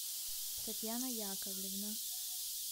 татьяна яковлевна